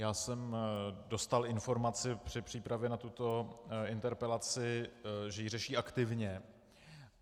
Já jsem dostal informaci při přípravě na tuto interpelaci, že ji řeší aktivně.